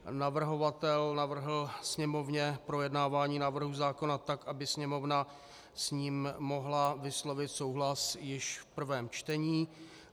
Navrhovatel navrhl Sněmovně projednávání návrhu zákona tak, aby Sněmovna s ním mohla vyslovit souhlas již v prvém čtení.